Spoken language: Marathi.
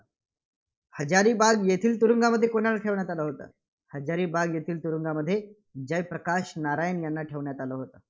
हजारी बाग येथील तुरुंगात कुणाला ठेवण्यात आलं होतं? हजारीबाग येथील तुरुंगामध्ये जयप्रकाश नारायण यांना ठेवण्यात आलं होतं.